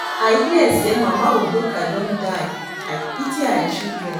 I hear say Mama Udoka don die, I pity her children